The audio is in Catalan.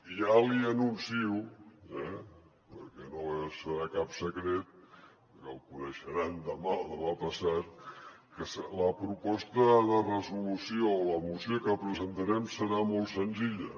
ja li anuncio perquè no serà cap secret perquè el coneixeran demà o demà passat que la proposta de resolució o la moció que presentarem serà molt senzilla